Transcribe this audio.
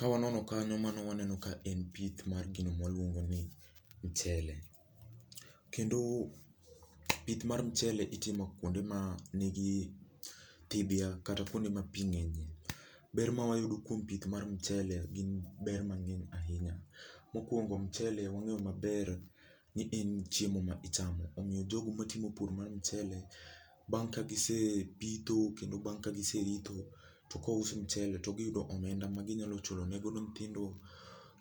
Kawanono kanyo mano waneno ka en pith mar gino mwaluongo ni mchele. Kendo, pith mar mchele itimo kwonde ma nigi thidhya kata kwonde ma pii ng'enyie. Ber ma wayudo kuom pith mar mchele gin ber mang'eny ahinya. Mokwongo mchele wang'eyo maber, ni en chiemo ma ichamo. Omiyo jogo matimo pur mar mchele, bang' ka gise pitho kendo bang' ka giseritho to kous mchele to giyudo omenda ma ginyalo chulo ne godo nyithindo